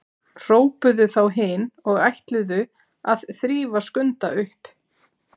hrópuðu þá hin og ætluðu að þrífa Skunda upp.